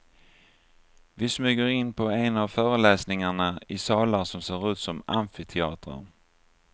Vi smyger in på en av föreläsningarna i salar som ser ut som amfiteatrar.